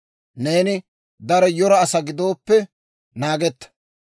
Neeni daro yora asaa gidooppe, naagetta.